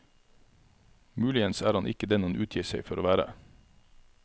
Muligens er han ikke den han utgir seg for å være.